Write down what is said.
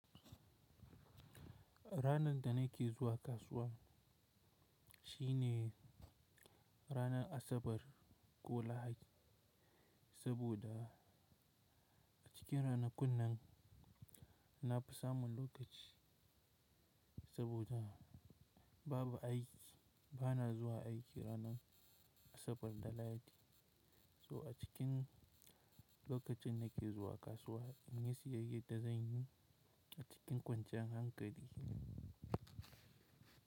Ranar da nake zuwa kasuwa shine ranar Asabar ko Lahadi, saboda a cikin ranakun nan na fi samun lokaci. Saboda babu aiki, bana zuwa aiki ranar Asabar da Lahadi. So a cikin lokacin da nake zuwa kasuwa, inyu siyayyar da zan yi a cikin kwanciyar hankali.